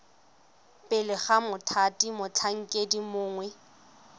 pele ga mothati motlhankedi mongwe